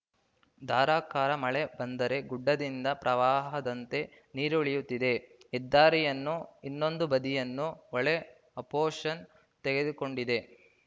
ಧಾರಾಕಾರ ಮಳೆ ಬಂದರೆ ಗುಡ್ಡದಿಂದ ಪ್ರವಾಹದಂತೆ ನೀರು ಇಳಿಯುತ್ತಿದೆ ಹೆದ್ದಾರಿಯನ್ನು ಇನ್ನೊಂದು ಬದಿಯನ್ನು ಹೊಳೆ ಆಪೋಶನ ತೆಗೆದುಕೊಂಡಿದೆ